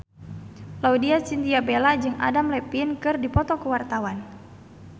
Laudya Chintya Bella jeung Adam Levine keur dipoto ku wartawan